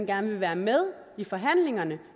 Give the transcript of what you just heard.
gerne vil være med i forhandlingerne